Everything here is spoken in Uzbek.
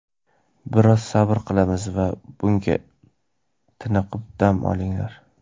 Biroz sabr qilamiz yoki bugun tiniqib dam olinglar.